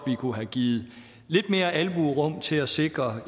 vi kunne have givet lidt mere albuerum til at sikre